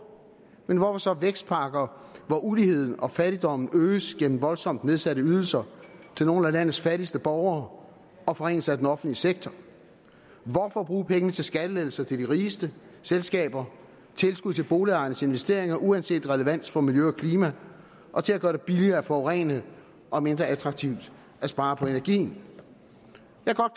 men hvorfor så vækstpakker hvor uligheden og fattigdommen øges gennem voldsomt nedsatte ydelser til nogle af landets fattigste borgere og forringelse af den offentlige sektor hvorfor bruge pengene til skattelettelser til de rigeste selskaber tilskud til boligejernes investeringer uanset relevansen for miljø og klima og til at gøre det billigere at forurene og mindre attraktivt at spare på energien